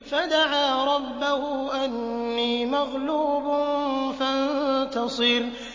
فَدَعَا رَبَّهُ أَنِّي مَغْلُوبٌ فَانتَصِرْ